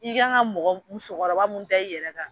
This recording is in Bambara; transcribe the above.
I kan ka musokɔrɔba mun da i yɛrɛ kan